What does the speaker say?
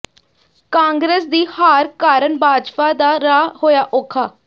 ਕਾਂਗਰਸ ਦੀ ਹਾਰ ਕਾਰਨ ਬਾਜਵਾ ਦਾ ਰਾਹ ਹੋਇਆ ਔਖਾ